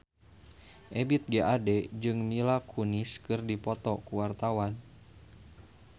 Ebith G. Ade jeung Mila Kunis keur dipoto ku wartawan